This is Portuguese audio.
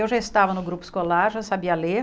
Eu já estava no grupo escolar, já sabia ler.